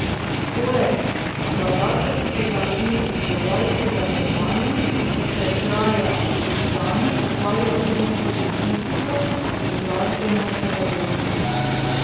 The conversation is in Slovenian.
Poleg skladateljskega in izvajalskega delovanja se Traja Brizani ukvarja tudi s publicistiko in glasbeno pedagogiko.